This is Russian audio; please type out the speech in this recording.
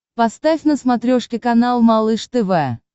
поставь на смотрешке канал малыш тв